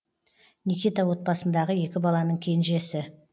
никита отбасындағы екі баланың кенжесі